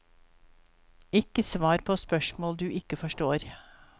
Ikke svar på spørsmål du ikke forstår.